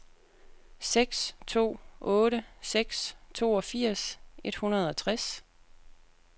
seks to otte seks toogfirs et hundrede og tres